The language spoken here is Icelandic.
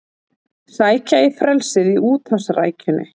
Sækja í frelsið í úthafsrækjunni